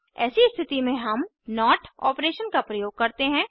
ऐसी स्थिति में हम नोट ऑपरेशन का प्रयोग करते हैं